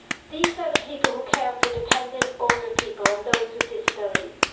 These are the people who care for dependant older people and those with disabilities.